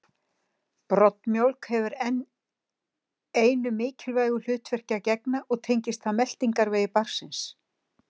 Broddmjólk hefur enn einu mikilvægu hlutverki að gegna og tengist það meltingarvegi barnsins.